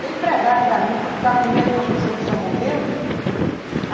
Bem pregado para mim, fui ficar com medo de uma pessoa que já morreu.